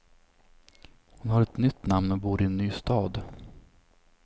Hon har ett nytt namn och bor i en ny stad.